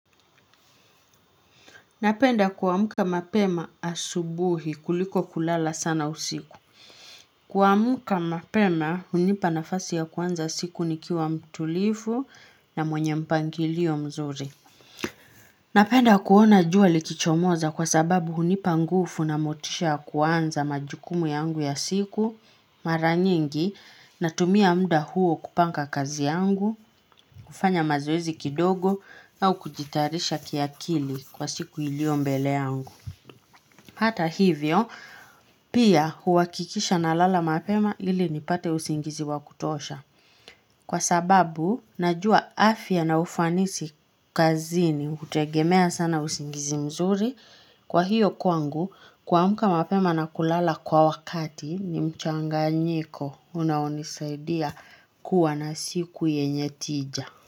Napenda kuamuka mapema asubuhi kuliko kulala sana usiku. Kuamuka mapema, hunipa nafasi ya kuanza siku nikiwa mtulivu na mwenye mpangilio mzuri. Napenda kuona jua likichomoza kwa sababu hunipa nguvu na motisha kuanza majukumu yangu ya siku mara nyingi natumia muda huo kupanga kazi yangu, kufanya mazoezi kidogo au kujitayarisha kiakili kwa siku ilio mbele yangu. Hata hivyo, pia huwakikisha nalala mapema ili nipate usingizi wa kutosha. Kwa sababu, najua afya na ufanisi kazini hutegemea sana usingizi mzuri. Kwa hiyo kwangu, kuamuka mapema na kulala kwa wakati ni mchanganyiko unaonisaidia kuwa na siku yenye tija.